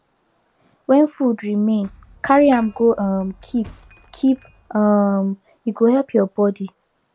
when food remain carry am go um keep keep um e go help your body